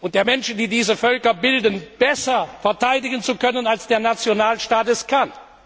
und der Menschen, die diese Völker bilden, besser verteidigen zu können, als der Nationalstaat es kann.